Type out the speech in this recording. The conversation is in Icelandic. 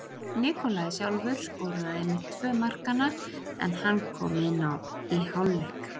Nikolaj sjálfur skoraði einmitt tvö markanna en hann kom inná í hálfleik.